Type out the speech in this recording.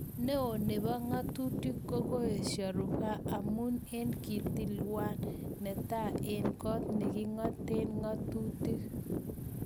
Neo nepo katutik kokoesha rufaa amun en kitelywan ne taa en kot nekikatet ketutik